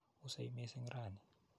Usei missing' raini.